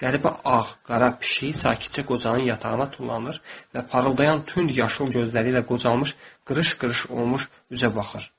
Qəribə ağ-qara pişik sakitcə qocanın yatağına tullanır və parıldayan tünd yaşıl gözləri ilə qocalmış, qırış-qırış olmuş üzə baxır.